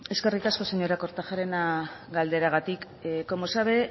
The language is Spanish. eskerrik asko señora kortajarena galderagatik como sabe